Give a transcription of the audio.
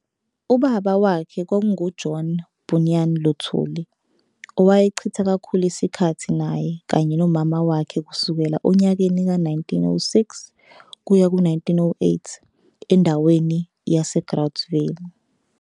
Ubaba wakhe kwakungu-John Bunyan Luthuli, owayechitha kakhulu isikhathi naye kanye nomama wakhe kusukela onyakeni ka-1906 kuya ku-1908 endaweni yase Groutville.